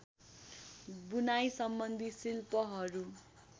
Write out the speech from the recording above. बुनाइसम्बन्धी शिल्पहरू